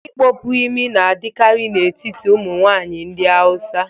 Ịkpọpu imi n'adịkarị n'etiti ụmụnwaanyị ndị hausa